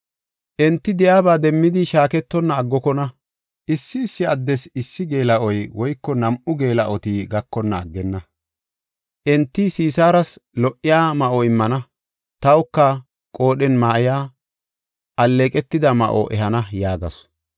“Enti di77o demmidi shaaketonna aggokona; Issi issi addes issi geela7oy woyko nam7u geela7oti gakonna aggenna. Enti Sisaaras lo77iya ma7o immana; tawka qoodhen ma7iya, alleeqetida ma7o ehana” yaagasu.